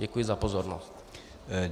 Děkuji za pozornost.